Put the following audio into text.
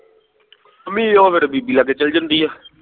mummy ਉਹ ਫਿਰ ਬੀਬੀ ਲਾਗੇ ਚਲ ਜਾਂਦੀ ਆ